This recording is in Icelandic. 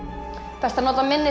best að nota minnis